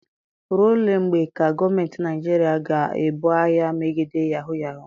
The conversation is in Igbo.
Ruo ole mgbe ka gọọmenti Naijiria ga-ebu agha megide yahuu yahuu?